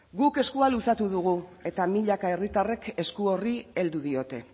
guk eskua luzatu dugu eta milaka herritarrek esku horri heldu diote